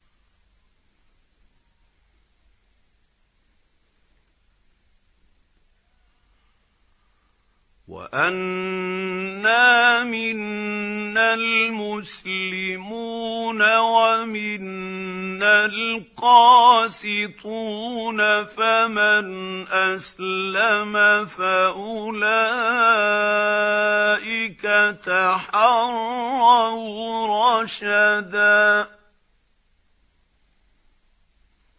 وَأَنَّا مِنَّا الْمُسْلِمُونَ وَمِنَّا الْقَاسِطُونَ ۖ فَمَنْ أَسْلَمَ فَأُولَٰئِكَ تَحَرَّوْا رَشَدًا